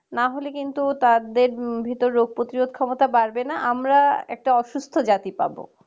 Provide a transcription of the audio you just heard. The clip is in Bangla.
না হলে কিন্তু তাদের ভেতর রোগ প্রতিরোধ ক্ষমতা বাড়বে না আমরা একটা অসুস্থ জাতি পাব